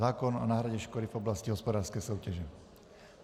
Zákon o náhradě škody v oblasti hospodářské soutěže.